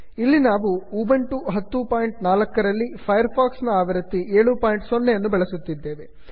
ಇಲ್ಲಿ ನಾವು ಉಬಂಟು 1004ರಲ್ಲಿ ಫೈರ್ ಫಾಕ್ಸ್ ನ ಆವೃತ್ತಿ 70ಯನ್ನು ಬಳಸುತ್ತಿದ್ದೇವೆ